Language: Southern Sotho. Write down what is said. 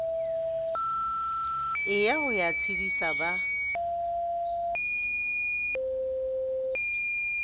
ela ho ya tshedisa ba